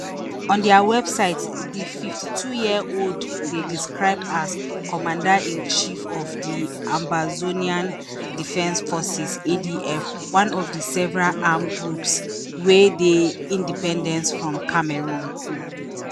on dia website di fifty-twoyearold dey described as commanderinchief of di ambazonian defence forces adf one of several armed groups wey dey independence from cameroon